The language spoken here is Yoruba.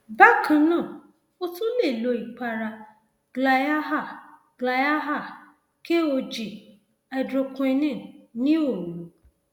àfikún èròjà zinc bíi znd tàbí zinconia fún ọsẹ méjì tó ń bọ